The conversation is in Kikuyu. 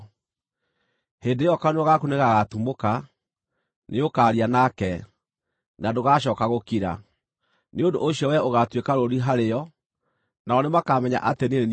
Hĩndĩ ĩyo kanua gaku nĩgagatumũka; nĩũkaria nake, na ndũgacooka gũkira. Nĩ ũndũ ũcio wee ũgaatuĩka rũũri harĩo, nao nĩmakamenya atĩ niĩ nĩ niĩ Jehova.”